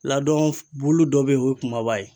Ladon bulu dɔ be yen o ye kumaba ye.